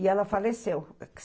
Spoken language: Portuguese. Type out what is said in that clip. E ela faleceu.